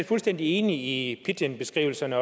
fuldstændig enig i pidginbeskrivelserne